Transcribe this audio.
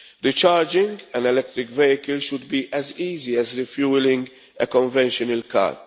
Recharging an electric vehicle should be as easy as refuelling a conventional